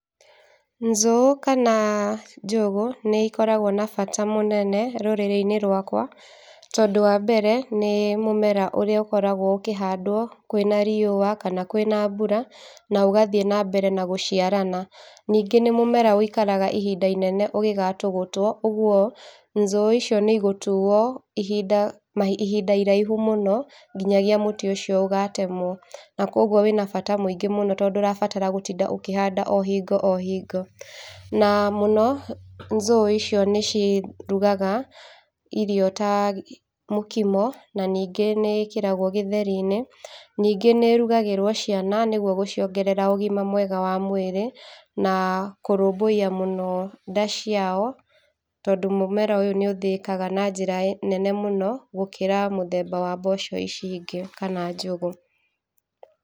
Nzũũ kana njũgũ nĩ ikoragwo na bata mũnene rũrĩrĩ-inĩ rwakwa tondũ wambere nĩ mũmera ũrĩa ũkoragwo ũkĩhandwo kwĩna riũa kana kwĩna mbũra na ũgathiĩ nambere na gũciarana. Ningĩ nĩ mũmera ũikaraga ihinda inene ũngĩgatũgũtwo ũguo nzũũ icio nĩ igũtuo ihinda, ihinda iraihu mũno nginyagia mũtĩ ũcio ũgatemwe, na kwoguo wĩna bata mũingĩ mũno tondũ ndũrabatara gũtinda ũkĩhanda ohingo ohingo. Na mũno nzũũ icio nĩ cirugaga irio ta gĩ mũkimo, na ningĩ nĩ ikĩragwo gĩtheri-inĩ, ningĩ nĩirugagĩrwo ciana nĩguo gũciongerera ũgima mwega wa mwĩrĩ na kũrũmbũiya mũno nda ciao, tondũ mũmera ũyũ nĩ ũthĩĩkaga na njĩra nene mũno gũkĩra mũthemba wa mboco ici ingĩ kana njũgũ.